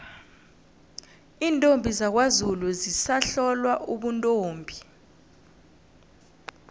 iintombi zakwazulu zisahlolwa ubuntombi